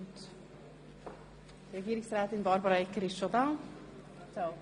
Ich begrüsse Frau Regierungsrätin Egger.